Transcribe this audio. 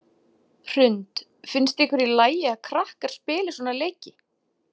Hrund: Finnst ykkur í lagi að krakkar spili svona leiki?